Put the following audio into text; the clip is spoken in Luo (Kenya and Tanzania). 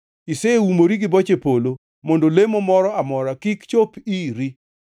Iseumori gi boche polo mondo lemo moro amora kik chop iri.